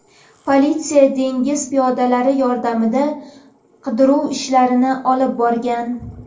Politsiya dengiz piyodalari yordamida qidiruv ishlarini olib borgan.